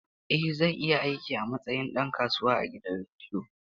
Eh, zan iya aiki a matsayin ɗan kasuwa a gidan rediyo.